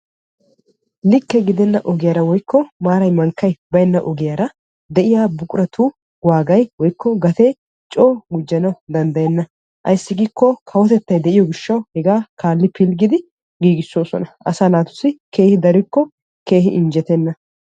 Likke gidenna ogiyaara woykko maaray mankkay baynna ogiyaara de'iyaa buquratu waagay woykko gatee coo gujjana danddayenna. ayssi giikko kawotettay de'iyoo gishshawu hegaa kaalli pilggidi giigissoosona. asaa naatussi keehi darikko keehi injjetenna.